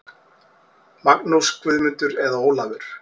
Magnús, Guðmundur eða Ólafur.